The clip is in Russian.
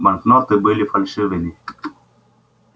банкноты были фальшивыми